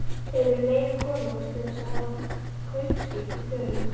Hefurðu leyfi konungs til þess að hafa kaupskip í förum?